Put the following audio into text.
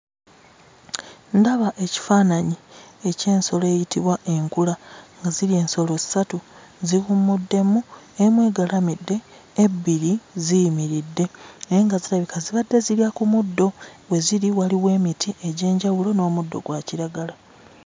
Ndaba ekifaananyi eky'ensolo eyitibwa enkula, nga ziri ensolo ssatu, ziwummuddemu. Emu egalamidde, ebbiri ziyimiridde naye nga zirabika zibadde zirya ku muddo. We ziri waliwo emiti egy'enjawulo n'omuddo gwa kiragala.